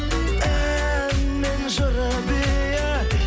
ән мен жыры биі